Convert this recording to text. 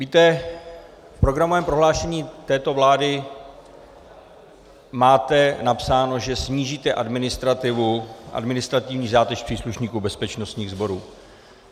Víte, v programovém prohlášení této vlády máte napsáno, že snížíte administrativní zátěž příslušníků bezpečnostních sborů.